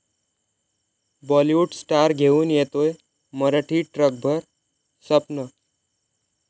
Bollywood star घेऊन येतोय मराठी 'ट्रकभर स्वप्न'